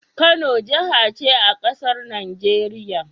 Kano jahace a casar Nigeria